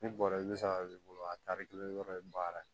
Ne bɔra i bɛ saga b'i bolo a tari kelen yɔrɔ ye baara ye